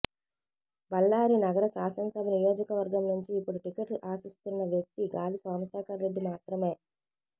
బళ్లారి నగర శాసన సభ నియోజక వర్గం నుంచి ఇప్పుడు టిక్కెట్ ఆశిస్తున్న వ్యక్తి గాలి సోమశేఖర్ రెడ్డి మాత్రమే